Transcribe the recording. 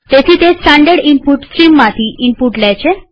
તેથી તે standard input સ્ટ્રીમમાંથી ઈનપુટ લે છે